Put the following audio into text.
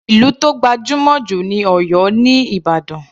Ìlú tó gbajúmọ̀ jù ní Oyo ni Ìbàdàn.